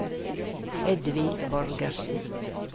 Edvin Borgersen